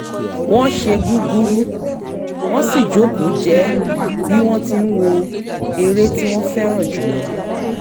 wọ́n ṣe gúgúrú wọ́n sì jókòó jẹ́ẹ́ bí wọ́n tí ń wo eré tí wọ́n fẹ́ràn jù lọ